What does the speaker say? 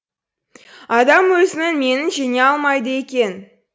адам өзінің менін жеңе алмайды екен